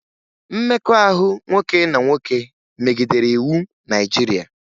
Mmekọahụ nwoke na nwoke megidere iwu Naịjirịa